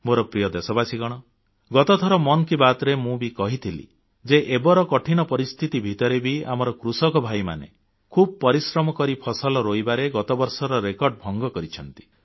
ମୋର ପ୍ରିୟ ଦେଶବାସୀଗଣ ଗତ ଥର ମନ୍ କି ବାତ୍ରେ ବି ମୁଁ କହିଥିଲି ଯେ ଏବର କଠିନ ପରିସ୍ଥିତି ଭିତରେ ବି ଆମର କୃଷକଭାଇମାନେ ଖୁବ୍ ପରିଶ୍ରମ କରି ଫସଲ ରୋଇବାବୁଣିବାରେ ଗତବର୍ଷର ରେକର୍ଡ ଭଙ୍ଗ କରିଛନ୍ତି